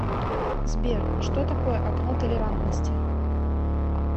сбер что такое окно толерантности